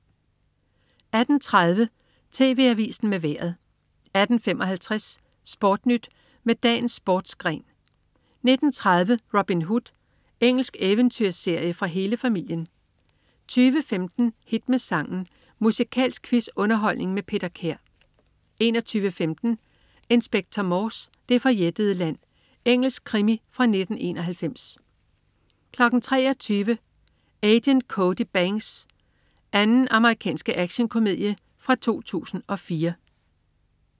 18.30 TV Avisen med Vejret 18.55 SportNyt med dagens sportsgren 19.30 Robin Hood. Engelsk eventyrserie for hele familien 20.15 Hit med sangen. Musikalsk quiz-underholdning med Peter Kær 21.15 Inspector Morse: Det forjættede land. Engelsk krimi fra 1991 23.00 Agent Cody Banks 2. Amerikansk actionkomedie fra 2004